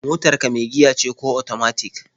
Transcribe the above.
Motar ka mai giya ce ko otomatik?